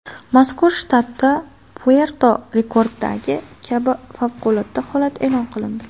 Mazkur shtatda, Puerto-Rikodagi kabi, favqulodda holat e’lon qilindi.